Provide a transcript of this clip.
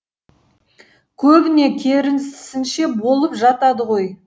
көбіне керісінше болып жатады ғой